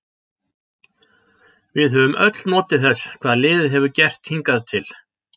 Við höfum öll notið þess hvað liðið hefur gert hingað til.